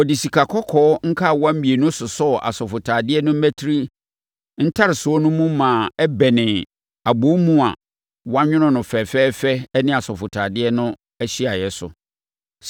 Wɔde sikakɔkɔɔ nkawa mmienu sosɔɔ asɔfotadeɛ no mmati ntaresoɔ no mu ma ɛbɛnee abɔwomu a wɔanwono no fɛfɛɛfɛ ne asɔfotadeɛ no ahyiaeɛ so.